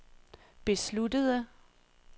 besluttede